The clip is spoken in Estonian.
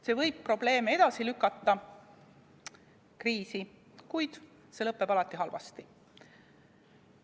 See võib probleeme, kriisi edasi lükata, kuid lõpeb alati halvasti.